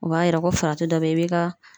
O b'a yira ko farati dɔ be ye e b'i ka